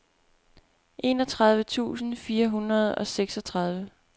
enogtredive tusind fire hundrede og seksogtredive